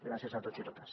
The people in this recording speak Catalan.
gràcies a tots i totes